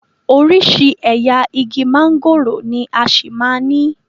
Oríṣiríṣi ẹ̀yà igi mángòrò ni a ṣì máa ní.